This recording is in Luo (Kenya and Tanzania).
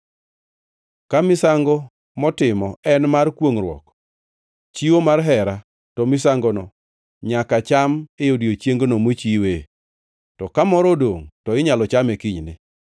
“ ‘Ka misango motimo en mar kwongʼruok, chiwo mar hera, to misangono nyaka cham e odiechiengno mochiwe, to ka moro odongʼ to inyalo chame kinyne.